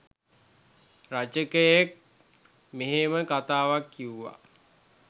රචකයෙක් මෙහෙම කතාවක් කිව්වා.